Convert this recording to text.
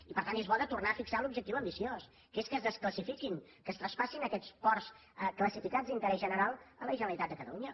i per tant és bo de tornar a fixar l’objectiu ambiciós que és que es desclassifiquin que es traspassin aquests ports classificats d’interès general a la generalitat de catalunya